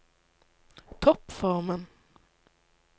toppformen